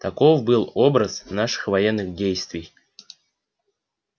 таков был образ наших военных действий